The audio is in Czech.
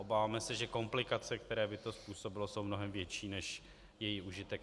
Obáváme se, že komplikace, které by to způsobilo, jsou mnohem větší než její užitek.